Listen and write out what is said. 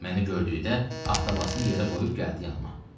Məni gördükdə avtobasını yerə qoyub gəldi yanıma.